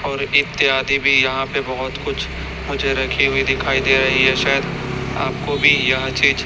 और इत्यादि भी यहां पे बहोत कुछ मुझे रखी हुई दिखाई दे रही है शायद आपको भी यह चीज--